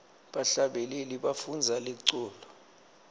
bahlabeleli bafundza liculo